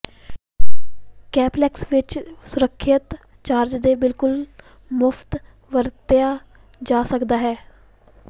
complex ਵਿਚ ਸੁਰੱਖਿਅਤ charge ਦੇ ਬਿਲਕੁਲ ਮੁਫ਼ਤ ਵਰਤਿਆ ਜਾ ਸਕਦਾ ਹੈ